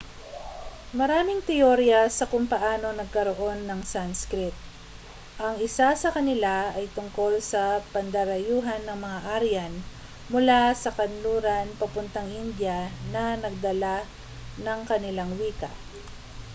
maraming teorya sa kung paano nagkaroon ng sanskrit ang isa sa kanila ay tungkol sa pandarayuhan ng mga aryan mula kanluran papuntang india na nagdala ng kanilang wika